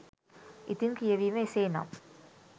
ඉතින් කියවීම එසේ නම්